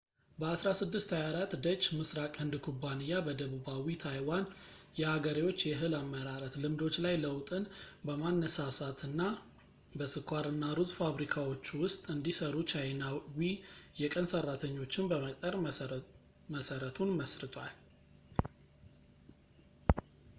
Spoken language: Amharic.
በ1624 ደች ምስራቅ ህንድ ኩባንያ በደቡባዊ ታይዋን የአገሬዎች የእህል አመራረት ልምዶች ላይ ለውጥን በማነሳሳትና በስኳር እና ሩዝ ፋብሪካዎቹ ውስጥ እንዲሰሩ ቻይናዊ የቀን ሰራተኞችን በመቅጠር መሰረቱን መስርቷል